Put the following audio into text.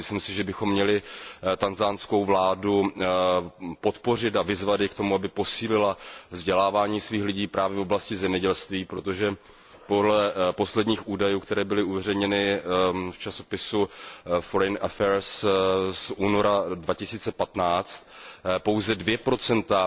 Myslím si, že bychom měli tanzanskou vládu podpořit a vyzvat ji k tomu, aby posílila vzdělávání svých lidí právě v oblasti zemědělství, protože podle posledních údajů, které byly uveřejněny v časopisu Foreign affairs z února 2015, pouze 2